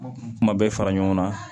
Kuma bɛɛ fara ɲɔgɔn kan